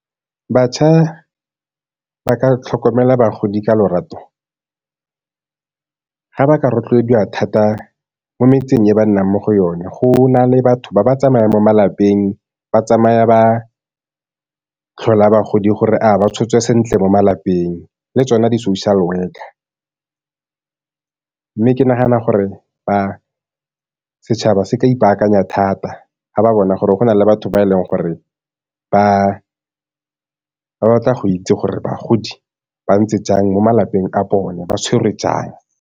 Bašwa ba ka tlhokomela bagodi ka lorato, ga ba ka rotloediwa thata mo metseng e ba nnang mo go yone, go na le batho ba ba tsamaya mo malapeng. Ba tsamaya ba tlhola bagodi gore a ba tshotswe sentle mo malapeng, le tsone di-social worker, mme ke nagana gore setšhaba se ka ipaakanya thata fa ba bona gore go na le batho ba e leng gore ba batla go itse gore bagodi ba ntse jang mo malapeng a bone, ba tshwerwe jang.